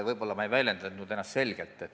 Võib-olla ma ei väljendanud ennast selgelt.